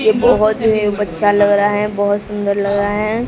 ये बहोत ही बच्चा लग रहा हैं बहोत सुंदर लग रहा हैं।